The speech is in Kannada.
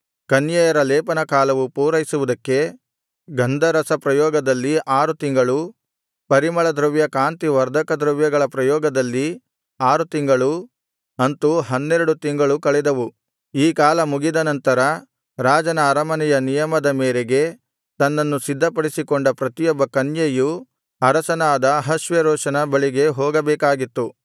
ಕನ್ಯೆಯರ ಲೇಪನಕಾಲವು ಪೂರೈಸುವುದಕ್ಕೆ ಗಂಧರಸಪ್ರಯೋಗದಲ್ಲಿ ಆರು ತಿಂಗಳೂ ಪರಿಮಳದ್ರವ್ಯ ಕಾಂತಿವರ್ಧಕದ್ರವ್ಯಗಳ ಪ್ರಯೋಗದಲ್ಲಿ ಆರು ತಿಂಳಗಳೂ ಅಂತು ಹನ್ನೆರಡು ತಿಂಗಳು ಕಳೆದವು ಈ ಕಾಲ ಮುಗಿದನಂತರ ರಾಜನ ಅರಮನೆಯ ನಿಯಮದ ಮೇರೆಗೆ ತನ್ನನ್ನು ಸಿದ್ಧಪಡಿಸಿಕೊಂಡ ಪ್ರತಿಯೊಬ್ಬ ಕನ್ಯೆಯು ಅರಸನಾದ ಅಹಷ್ವೇರೋಷನ ಬಳಿಗೆ ಹೋಗಬೇಕಾಗಿತ್ತು